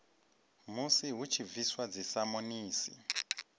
musi hu tshi bviswa dzisamonisi